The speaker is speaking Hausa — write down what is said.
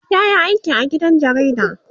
yayi aiki a gidan jarida